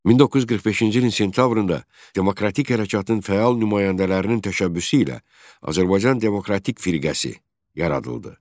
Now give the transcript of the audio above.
1945-ci ilin sentyabrında Demokratik Hərəkatın fəal nümayəndələrinin təşəbbüsü ilə Azərbaycan Demokratik Firqəsi yaradıldı.